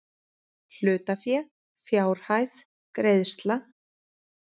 Hlutafé fjárhæð greiðsla